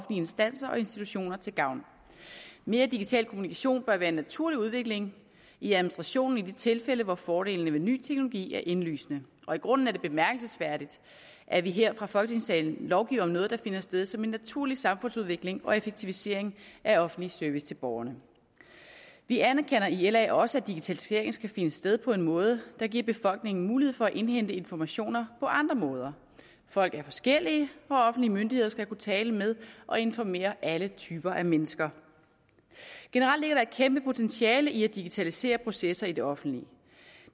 instanser og institutioner til gavn mere digital kommunikation bør være en naturlig udvikling i administrationen i de tilfælde hvor fordelene ved ny teknologi er indlysende og i grunden er det bemærkelsesværdigt at vi her fra folketingssalen lovgiver om noget der finder sted som en naturlig samfundsudvikling og effektivisering af offentlig service til borgerne vi anerkender i la også at digitaliseringen skal finde sted på en måde der giver befolkningen mulighed for at indhente informationer på andre måder folk er forskellige og offentlige myndigheder skal kunne tale med og informere alle typer af mennesker generelt ligger der et kæmpe potentiale i at digitalisere processer i det offentlige